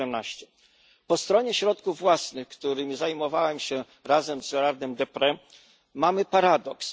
2017. Po stronie środków własnych, którymi zajmowałem się razem z Gérardem Deprez, mamy paradoks.